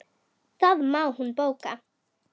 Það má hún bóka.